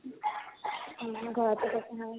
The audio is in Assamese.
উম উম ঘৰতে খেতি হয় ।